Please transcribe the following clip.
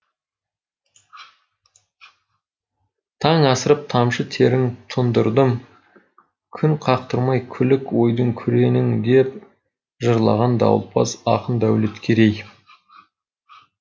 таң асырып тамшы терін тұндырдым күн қақтырмай күлік ойдың күреңін деп жырлаған дауылпаз ақын дәулеткерей